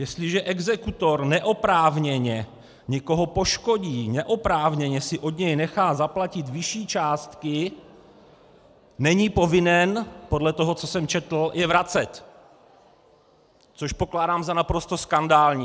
Jestliže exekutor neoprávněně někoho poškodí, neoprávněně si od něho nechá zaplatit vyšší částky, není povinen podle toho, co jsem četl, je vracet, což pokládám za naprosto skandální.